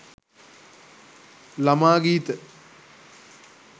lama geetha